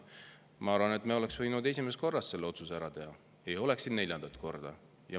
Ma arvan, et me oleks võinud esimesel korral selle otsuse ära teha, siis me ei oleks siin neljandat korda.